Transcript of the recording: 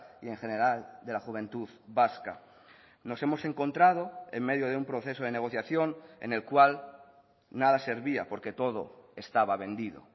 y en general de la juventud vasca nos hemos encontrado en medio de un proceso de negociación en el cual nada servía porque todo estaba vendido